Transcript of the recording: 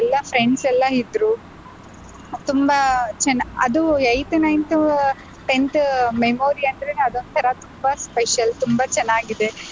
ಎಲ್ಲಾ friends ಎಲ್ಲಾ ಇದ್ರು ತುಂಬಾ ಚೆನ್ನಾ~ ಅದು eighth, ninth, tenth memory ಅಂದ್ರೆನೇ ಅದೊಂತರ ತುಂಬಾ special ತುಂಬಾ ಚೆನ್ನಾಗಿದೆ.